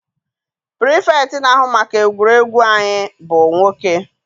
Pirifetktị na-ahụ maka egwuregwu anyị bụ nwoke.